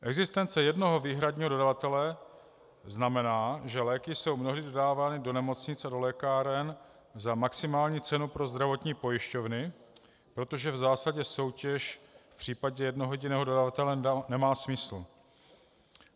Existence jednoho výhradního dodavatele znamená, že léky jsou mnohdy dodávány do nemocnic a do lékáren za maximální cenu pro zdravotní pojišťovny, protože v zásadě soutěž v případě jednoho jediného dodavatele nemá smysl.